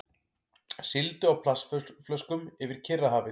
Sigldu á plastflöskum yfir Kyrrahafið